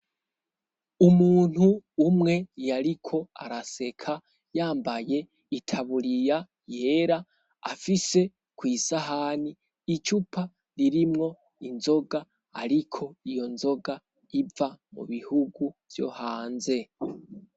Umuntu umwe yariko araseka yambaye itaburiya yera afise kw'isahani icupa ririmwo inzoga ariko iyo nzoga iva mubihugu vyo hanze.